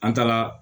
An taara